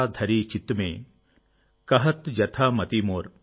ఈ వైభవాన్ని వివరిస్తాను